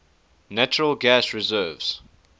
natural gas reserves